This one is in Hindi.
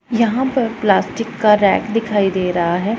यहां पर प्लास्टिक का रैक दिखाई दे रहा हैं।